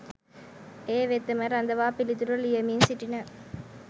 ඒ වෙතම රඳවා පිළිතුරු ලියමින් සිටින